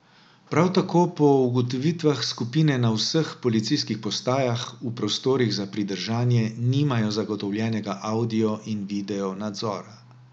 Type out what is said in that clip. Prav tako po ugotovitvah skupine na vseh policijskih postajah v prostorih za pridržanje nimajo zagotovljenega audio in video nadzora.